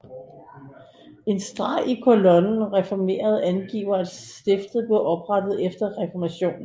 En streg i kolonnen Reformeret angiver at stiftet blev oprettet efter reformationen